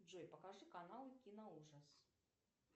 джой покажи канал киноужас